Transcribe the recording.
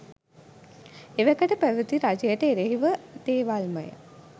එවකට පැවැති රජයට එරෙහි දේවල්මය.